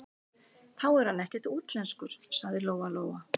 Þá er hann ekkert útlenskur, sagði Lóa-Lóa.